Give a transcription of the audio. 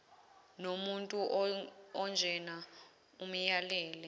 nomuntu onjena amyalele